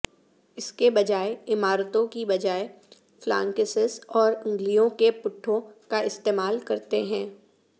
اس کے بجائے عمارتوں کی بجائے فلانکسس اور انگلیوں کے پٹھوں کا استعمال کرتے ہیں